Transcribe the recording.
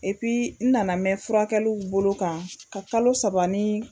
Epi n nana mɛn furakɛliw bolo kan ka kalo saba ni